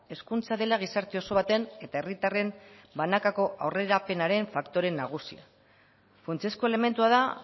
hezkuntza dela gizarte oso baten eta herritarren banakako aurrerapenaren faktore nagusia funtsezko elementua da